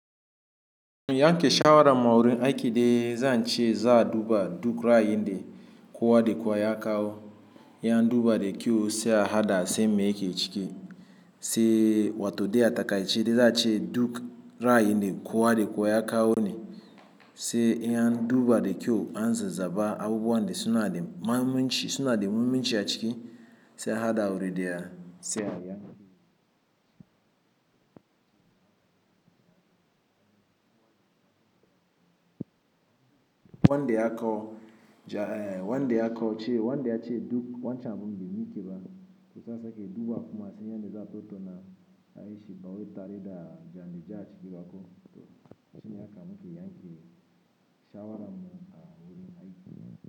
Yanke shawara ma wurin aiki dai zan ce za a duba duk ra'ayinda kowa da kowa ya kawo. In an duba da kyau sai a haɗa sai mu yanke ciki. Sai wato dai a takaici dai za a ce duk ra'ayinda kowa da kowa ya kawo ne. Sai ln an duba da kyau an zaza ba abubuwan da suna da mummunci a ciki sai a haɗa wuri dai sai a yanke. Wanda ya kawo cewa wanda yace duk wancan abin bai mashi ba za a sake duba a sake tattauna ayi shi ba tare da ja'inja a cika ba toh shine haka muke yanke shawaran mu a wurin aiki.